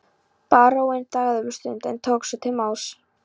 Baróninn þagði um stund en tók svo til máls